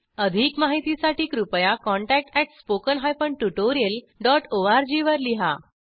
अधिक माहितीसाठी कृपया contactspoken tutorialorg वर लिहा